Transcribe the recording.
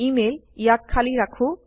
email ইয়াক খালি ৰাখো